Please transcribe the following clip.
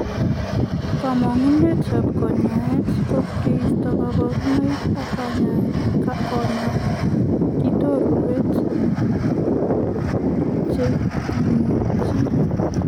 Kamanguneet ap kanyaet ko koistoo kaparunoik ak konyaa kitorewek che timochi.